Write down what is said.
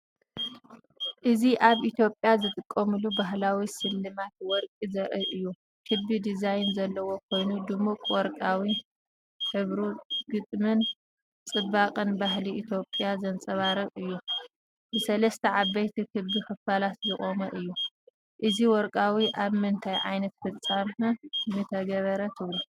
እዚ ኣብ ኢትዮጵያ ዝጥቀሙሉ ባህላዊ ስልማት ወርቂ ዘርኢ እዩ። ክቢ ዲዛይን ዘለዎ ኮይኑ ድሙቕ ወርቃዊ ሕብሩ ግጥምን ጽባቐን ባህሊ ኢትዮጵያ ዘንጸባርቕ እዩ። ብሰለስተ ዓበይቲ ክቢ ክፋላት ዝቖመ እዩ። እዚ ወርቃዊ ኣብ ምንታይ ዓይነት ፍጻመ ምትገበረ ትብሉ?